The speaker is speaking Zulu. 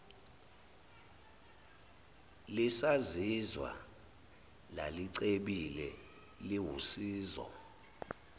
lisazizwa lalicebile liwusizo